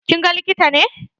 Kin ga likita ne?